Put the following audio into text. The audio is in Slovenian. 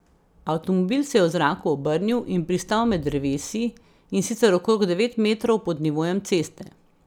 Avtomobil se je v zraku obrnil in pristal med drevesi, in sicer okrog devet metrov pod nivojem ceste.